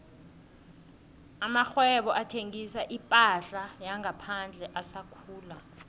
amakghwebo athengisa iphahla yangaphandle asakhula